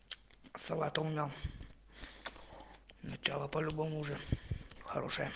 салат умял начало по-любому уже хорошее